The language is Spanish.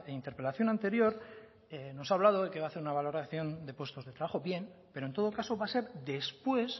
interpelación anterior nos ha hablado de que va a hacer una valoración de puestos de trabajo bien pero en todo caso va a ser después